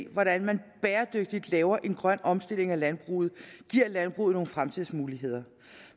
hvordan man bæredygtigt laver en grøn omstilling af landbruget giver landbruget nogle fremtidsmuligheder